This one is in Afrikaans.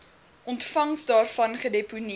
ontvangs daarvan gedeponeer